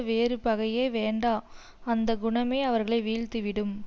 வேறு பகையே வேண்டா அந்த குணமே அவர்களை வீழ்த்தி விடும்